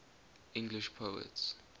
english poets